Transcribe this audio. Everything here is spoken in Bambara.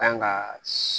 Kan ka